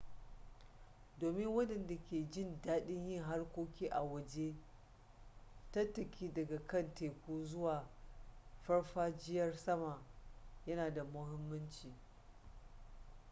domin waɗanda ke jin daɗin yin harkoki a waje tattaki daga kan teku zuwa farfajiyar sama yana da muhimmanci